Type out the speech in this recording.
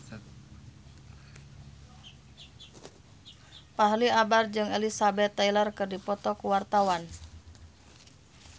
Fachri Albar jeung Elizabeth Taylor keur dipoto ku wartawan